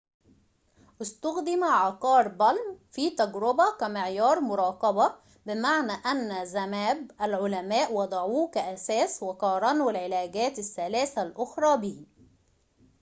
في تجربة palm استُخدم عقار zmapp كمعيار مراقبة بمعنى أن العلماء وضعوه كأساس وقارنوا العلاجات الثلاثة الأخرى به